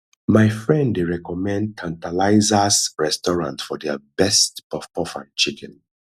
my friend dey recommend tantalizers restaurant for their best puffpuff and chicken